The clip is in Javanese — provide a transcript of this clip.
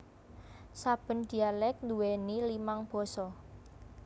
Saben dialek nduweni limang basa